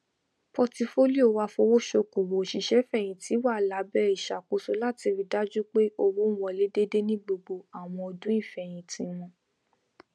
pọtifolio afowosokowo òṣìṣẹfẹyìntì wà lábẹ ìṣàkóso láti rí dájú pé owó n wọlé déédé ni gbogbo àwọn ọdún ìfẹyìntì wọn